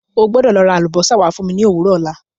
O gbọ́dọ̀ lọ ra àlùbósà wá fún mi ní òwúrọ̀ ọ̀la.